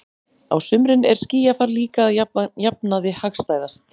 Á sumrin er skýjafar líka að jafnaði hagstæðast.